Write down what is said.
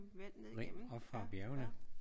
Rent oppe fra bjergene